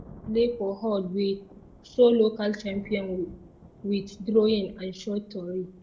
one display for hallway show local champion with drawing and short tori.